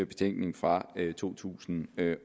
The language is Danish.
betænkning fra to tusind